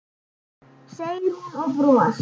segir hún og bros